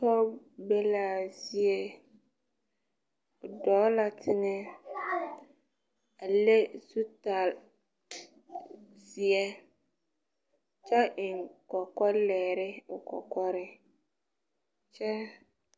Pɔge be laa zie o dɔɔ la teŋɛ a leŋ zutal zeɛ kyɛ eŋ kɔkɔlɛɛre o kɔkɔriŋ kyɛ.